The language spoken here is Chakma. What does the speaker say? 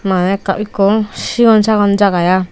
mane ekka ikko sigon sagon jaga i.